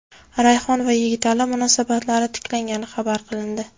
Rayhon va Yigitali munosabatlari tiklangani xabar qilindi.